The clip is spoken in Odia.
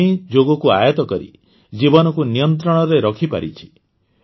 ଅନ୍ୱୀ ଯୋଗକୁ ଆୟତ କରି ଜୀବନକୁ ନିୟନ୍ତ୍ରଣରେ ରଖିପାରିଛି